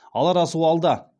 алар асу алда